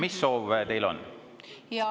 Mis soov teil on?